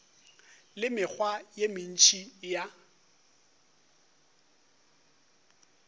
le mekgwa ye mentši ya